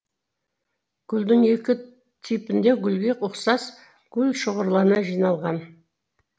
гүлдің екі типінде гүлге ұқсас гүлшоғырлана жиналған